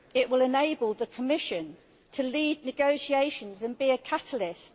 It will enable the Commission to lead negotiations and be a catalyst.